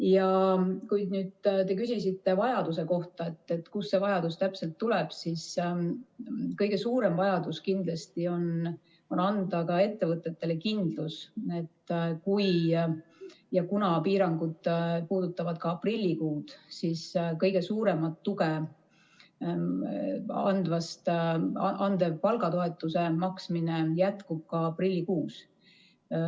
Ja kui te küsisite vajaduse kohta, et kust see vajadus täpselt tuleb, siis kõige suurem vajadus kindlasti on anda ettevõtetele kindlus, et kui ja kuna piirangud puudutavad ka aprillikuud, siis kõige suuremat tuge andva palgatoetuse maksmine jätkub ka aprillikuus.